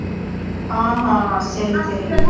ஆஹ் ஹா சரி சரி